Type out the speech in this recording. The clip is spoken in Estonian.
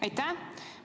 Aitäh!